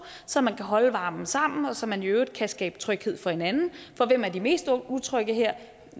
så man kan holde varmen sammen og så man i øvrigt kan skabe tryghed for hinanden for hvem er de mest utrygge her